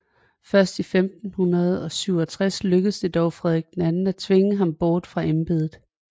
Først i 1567 lykkedes det dog Frederik II at tvinge ham bort fra embedet